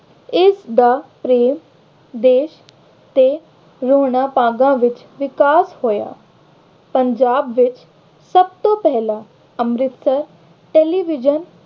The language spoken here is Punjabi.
ਇਸਦਾ ਦੇਸ਼ ਦੇ ਹੋਰਨਾਂ ਭਾਗਾਂ ਵਿੱਚ ਵਿਕਾਸ ਹੋਇਆ। ਪੰਜਾਬ ਵਿੱਚ ਸਭ ਤੋਂ ਪਹਿਲਾਂ ਅੰਮ੍ਰਿਤਸਰ television